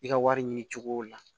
I ka wari ɲini cogo la